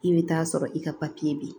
I bɛ taa sɔrɔ i ka papiye bɛ